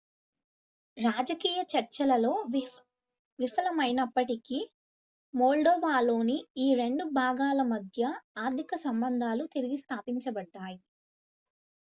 రాజకీయ చర్చలలో విఫలమైనప్పటికీ మోల్డోవాలోని ఈ 2 భాగాల మధ్య ఆర్థిక సంబంధాలు తిరిగి స్థాపించబడ్డాయి